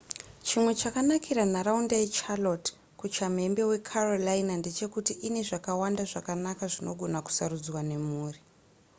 chimwe chakanakira nharaunda yecharlotte kuchamhembe wecarolina ndechekuti ine zvakawanda zvakanaka zvinogona kusarudzwa nemhuri